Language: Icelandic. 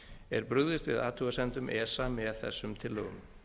er brugðist við athugasemdum esa með þessum tillögum